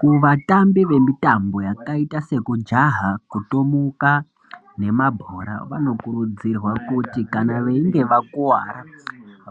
Kuvatambi vanoita mitambo yakaita sekujaha, kutomuka nemabhora vanokurudzirwa kuti veinge vakuwara